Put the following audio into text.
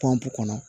Pɔnpu kɔnɔ